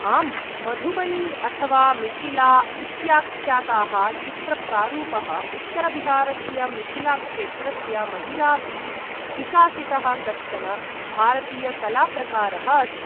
आम्, मधुबनी अथवा मिथिला इत्याख्याताः चित्रप्रारूपः उत्तरबिहारस्य मिथिलाक्षेत्रस्य महिलाभिः विकासितः कश्चन भारतीयकलाप्रकारः अस्ति।